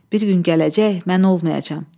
Bir gün gələcək, mən olmayacam.